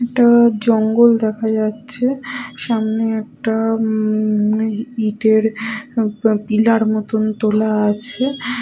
একটা-আ জঙ্গল দেখা যাচ্ছে সামনে একটা উম-ম ই ইটের উম প পিলার মতোন তোলা আছে ।